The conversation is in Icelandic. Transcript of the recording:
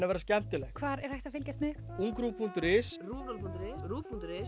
að vera skemmtileg hvar er hægt að fylgjast með ungruv punktur is ruvnull punktur is